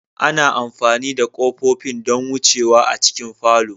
Ana amfani da kofofin don wucewa a cikin falo.